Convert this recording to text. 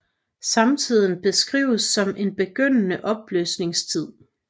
Samtiden beskrives som en begyndende opløsningstid